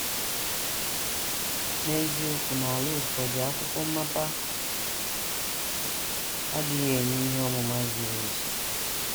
N’eziokwu, n’ala ụfọdụ akwụkwọ mmapawa adịghị enye ihe ọmụma zuru ezu.